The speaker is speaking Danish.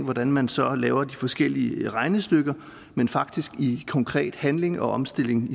hvordan man så laver de forskellige regnestykker men faktisk i konkret handling og omstilling